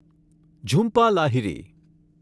Jhumpa Lahiri